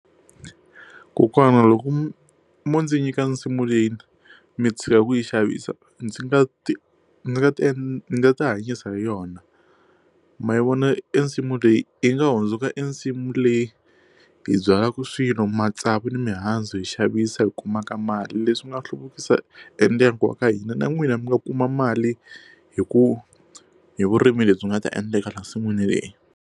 Kokwana loko mo ndzi nyika nsimu leyi mi tshika ku yi xavisa ndzi nga ti nga ti nga ti hanyisa hi yona ma yi vona i nsimu leyi yi nga hundzuka i nsimu leyi hi byala ku swilo matsavu na mihandzu hi xavisa hi kumaka mali leswi nga hluvukisa e ndyangu wa ka hina na n'wina mi nga kuma mali hi ku hi vurimi lebyi nga ta endleka le nsin'wini leyi.